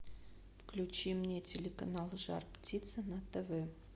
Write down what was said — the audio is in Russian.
включи мне телеканал жар птица на тв